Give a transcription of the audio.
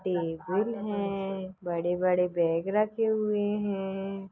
Table है। बड़े-बड़े bag रखे हुए है।